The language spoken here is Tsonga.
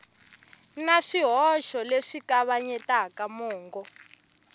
na swihoxo leswi kavanyetaka mongo